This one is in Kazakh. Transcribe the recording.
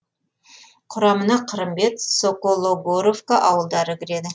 құрамына қырымбет сокологоровка ауылдары кіреді